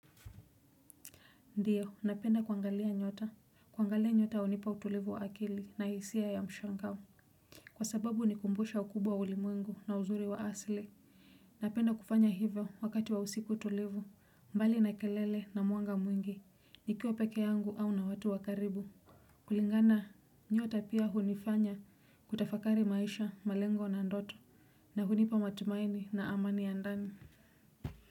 Ndiyo, napenda kuangalia nyota. Kuangalia nyota hunipa utulivu wa akili na hisia ya mshangao. Kwa sababu hunikumbusha ukubwa wa ulimwengu na uzuri wa asili. Napenda kufanya hivyo wakati wa usiku utulivu. Mbali na kelele na mwanga mwingi. Nikiwa peke yangu au na watu wa karibu. Kulingana, nyota pia hunifanya kutafakari maisha, malengo na ndoto. Na hunipa matumaini na amani ya ndani.